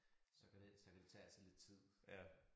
Så kan det så kan det tage altså lidt tid